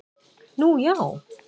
Nú já?